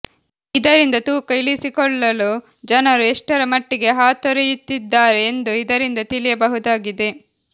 ಇದರಿಂದ ತೂಕ ಇಳಿಸಿಕೊಳ್ಳಲು ಜನರು ಎಷ್ಟರ ಮಟ್ಟಿಗೆ ಹಾತೊರೆ ಯುತ್ತಿದ್ದಾರೆ ಎಂದು ಇದರಿಂದ ತಿಳಿಯ ಬಹುದಾಗಿದೆ